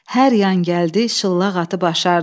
Hər yan gəldi şıllaq atıb aşardıq.